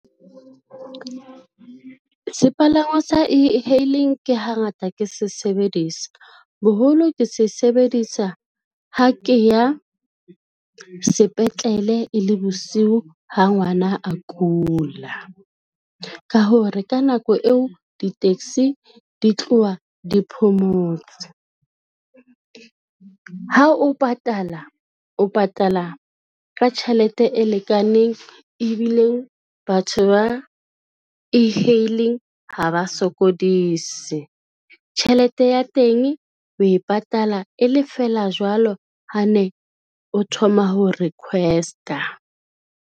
Sepalangwang sa e-hailing ke hangata ke se sebedisa, boholo ke se sebedisa ha ke ya sepetlele e le bosiu ha ngwana a kula, ka hore ka nako eo di-taxi di tloha di phomotse. Ha o patala, o patala ka tjhelete e lekaneng, ebile batho ba e-hailing ha ba sokodise, tjhelete ya teng o e patala e le fela jwalo ha ne o thoma ho request-a.